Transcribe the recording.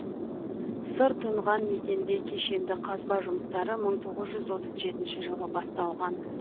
сыр тұнған мекенде кешенді қазба жұмыстары мың тоғыз жүз отыз жетінші жылы басталған